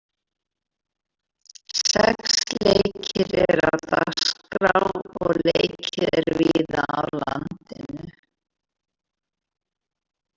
Sex leikir eru dagskrá og leikið er víða á landinu.